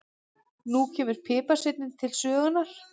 Nú kemur piparsveinninn til sögunnar.